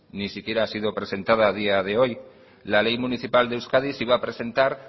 ni siquiera ha sido presentada a día de hoy la ley municipal de euskadi se iba a presentar